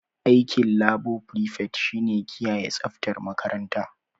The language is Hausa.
Aikin labo frifet shi ne kiyaye tsaftar makaranta.